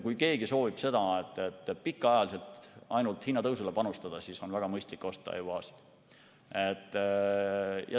Kui keegi soovib pikaajaliselt ainult hinnatõusule panustada, siis on väga mõistlik osta EUA‑sid.